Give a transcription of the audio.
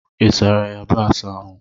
Ị sara yabasị ahụ?